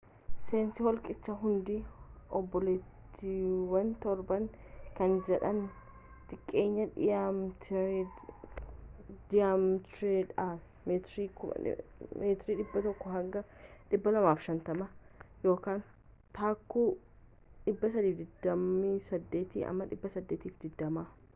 seensi holqichaa hundi obbooleettiiwan torban” kan jedhaman xiqqeenyaan diyaametiridhaan meetiira 100 hanga 250 taakkuu 328-820